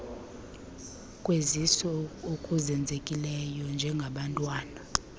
kwezisu okuzenzekelayo njengabantwana